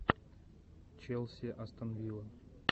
челси астон вилла